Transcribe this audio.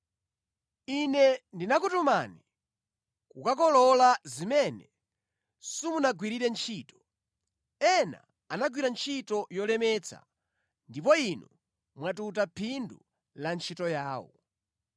Ine ndinakutumani kukakolola zimene simunagwirire ntchito. Ena anagwira ntchito yolemetsa ndipo inu mwatuta phindu la ntchito yawo.”